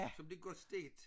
Som bliver godt stegt